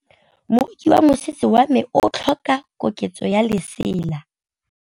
Moroki wa mosese wa me o tlhoka koketsô ya lesela.